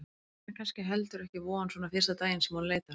Það er kannski heldur ekki von svona fyrsta daginn sem hún leitar.